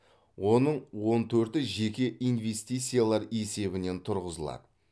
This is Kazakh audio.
оның он төрті жеке инвестициялар есебінен тұрғызылады